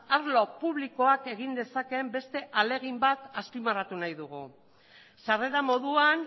arlo publikoak egin dezakeen beste ahalegin bat azpimarratu nahi dugu sarrera moduan